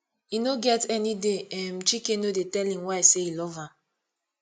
e no get any day um chike no dey tell im wife say e love am